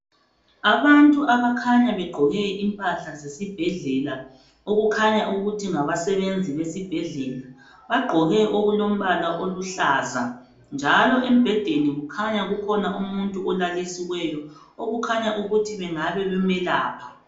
Abantu abakhanya beqgoke impahla zesibhedlela okukhanya ukuthi ngabasebenzi besibhedlela, baqgoke okulombala oluhlaza, njalo embhedeni kukhanya kukhona umuntu olalisiweyo okukhanya ukuthi bengabe bemelapha.